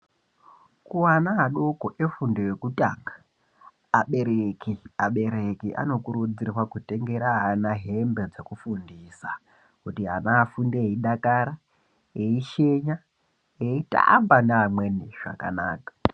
Kuana adoko efundo yekutanga abereki abereki anokurudzirwa kutengera ana hembe dzekufundisa kuti ana afunde eidakara, eishenya, eitamba neamweni zvakanaka.